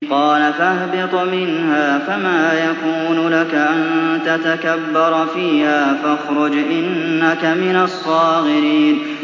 قَالَ فَاهْبِطْ مِنْهَا فَمَا يَكُونُ لَكَ أَن تَتَكَبَّرَ فِيهَا فَاخْرُجْ إِنَّكَ مِنَ الصَّاغِرِينَ